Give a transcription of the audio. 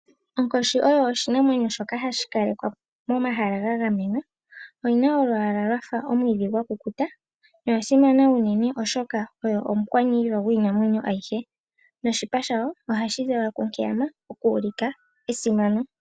Onkoshi oyo oshinamwenyo shoka hashi kalekwa momahala ga gamenwa. Oyina olwaala lwafa omwiidhi gwakukuta. Oya simana unene oshoka oyo omukwaniilwa gwiinamweyo ayihe. Noshipa shawo ohashi zala lwa kunkeyama oku ulika esimano.